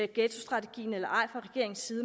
ghettostrategi